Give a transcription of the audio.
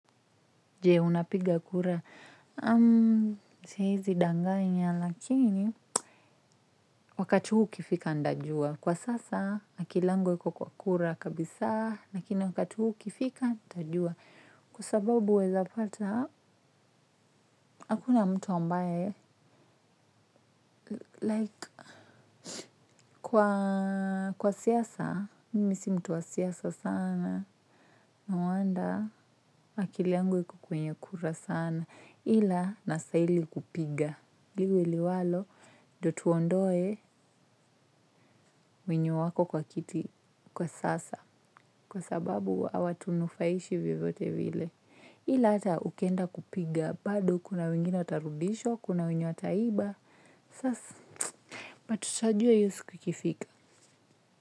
Je, unapiga kura. Siezi danganya lakini wakati huo ukifika nitajua kwa sasa, akili yangu haiko kwa kura kabisa, lakini wakati ukifika nitajua. Kwa sababu waeza pata hakuna mtu ambaye like, kwa siasa, mimi si mtu wa siasa sana. No wonder, akili yangu haiko kwenye kura sana. Ila, nastahili kupiga. Liwe liwalo ndio tuondoe. Wenye wako kwa kiti kwa sasa kwa sababu hawatunufaishi vyovyote vile. Ila hata ukienda kupiga, bado kuna wengine watarudishwa, kuna wenye wataiba, sasa but tutajua hiyo siku ikifika.